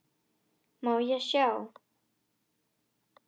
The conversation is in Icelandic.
Má ég sjá?